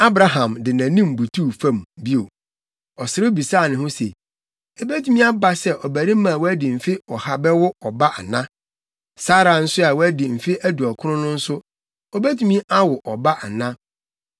Abraham de nʼanim butuw fam bio. Ɔserew bisaa ne ho se, “Ebetumi aba sɛ ɔbarima a wadi mfe ɔha bɛwo ɔba ana? Sara nso a wadi mfe aduɔkron no nso, obetumi awo ɔba ana?”